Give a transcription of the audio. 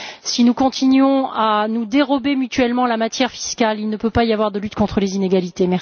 Si nous continuons à nous dérober mutuellement la matière fiscale, il ne peut pas y avoir de lutte contre les inégalités.